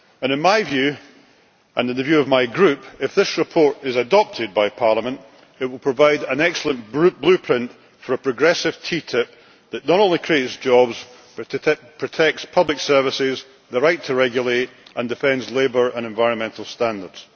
In my view, and in the view of my Group, if this report is adopted by Parliament it will provide an excellent blueprint for a progressive TTIP that not only creates jobs but protects public services and the right to regulate, and defends labour and environmental standards.